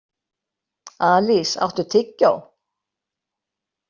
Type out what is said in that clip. Alísa, áttu tyggjó?